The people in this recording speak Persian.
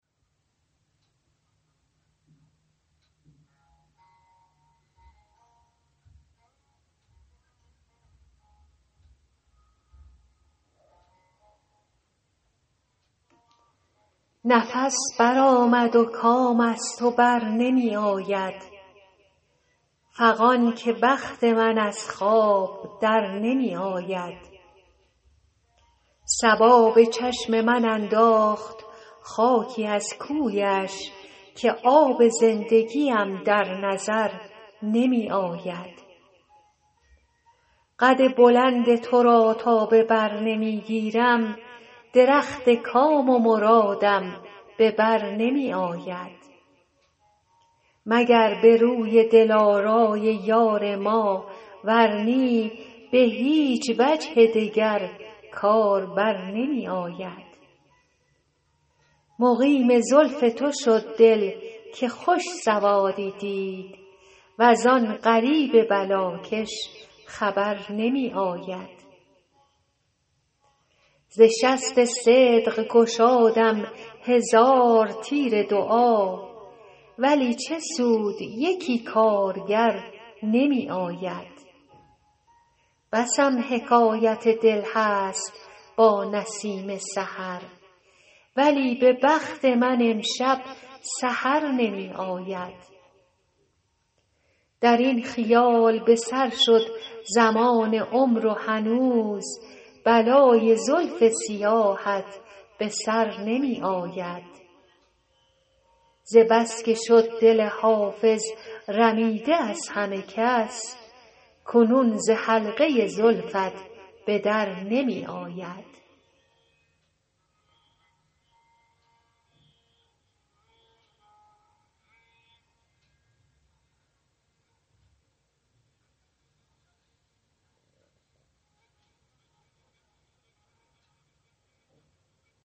نفس برآمد و کام از تو بر نمی آید فغان که بخت من از خواب در نمی آید صبا به چشم من انداخت خاکی از کویش که آب زندگیم در نظر نمی آید قد بلند تو را تا به بر نمی گیرم درخت کام و مرادم به بر نمی آید مگر به روی دلارای یار ما ور نی به هیچ وجه دگر کار بر نمی آید مقیم زلف تو شد دل که خوش سوادی دید وز آن غریب بلاکش خبر نمی آید ز شست صدق گشادم هزار تیر دعا ولی چه سود یکی کارگر نمی آید بسم حکایت دل هست با نسیم سحر ولی به بخت من امشب سحر نمی آید در این خیال به سر شد زمان عمر و هنوز بلای زلف سیاهت به سر نمی آید ز بس که شد دل حافظ رمیده از همه کس کنون ز حلقه زلفت به در نمی آید